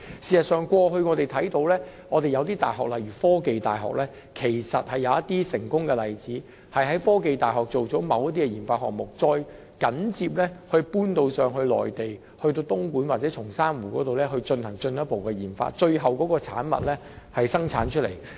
事實上，過去我們看見一些大學，例如科技大學也有一些成功的例子，也就是在科技大學進行某些研發項目，然後再轉到內地，例如在東莞或松山湖進行進一步的研發，最後生產有關的產品。